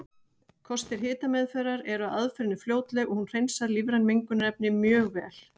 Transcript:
Kostir hitameðferðar eru að aðferðin er fljótleg og hún hreinsar lífræn mengunarefni mjög vel.